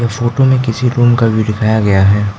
Photo में किसी room का व्यू दिखाया गया है।